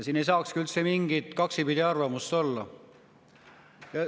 Siin ei saakski üldse mingit kaksipidi arvamust olla.